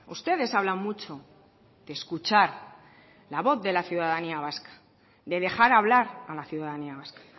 ustedes hablan mucho de escuchar la voz de la ciudadanía vasca de dejar hablar a la ciudadanía vasca